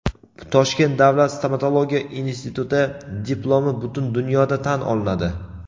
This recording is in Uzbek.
Toshkent davlat stomatologiya instituti diplomi butun dunyoda tan olinadi.